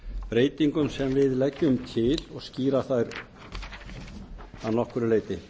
breytingum sem við leggjum til og skýra þær að nokkru leyti